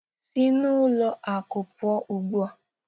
Si n'ụlọ akụ pụọ ugbu a